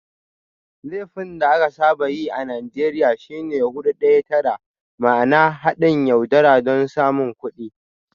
Laifin da aka saba yi a Najeriya shi ne "Hudu Daya Tara" ma'ana "Haɗin yaudara don samun kuɗi.